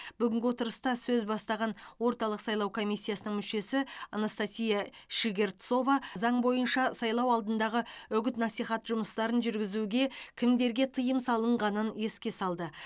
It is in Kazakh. бүгінгі отырыста сөз бастаған орталық сайлау комиссиясының мүшесі анастасия щегорцова заң бойынша сайлау алдындағы үгіт насихат жұмыстарын жүргізуге кімдерге тыйым салынғанын еске салды